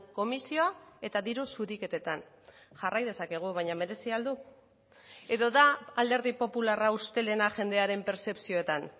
komisioa eta diru zuriketetan jarrai dezakegu baina merezi al du edo da alderdi popularra ustelena jendearen pertzepzioetan